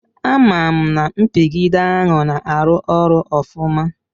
Amam na mpigide ahụ na-arụ ọrụ ofụma.